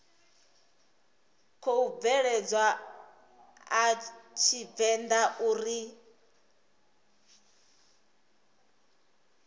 khou bveledzwa a tshivenḓa uri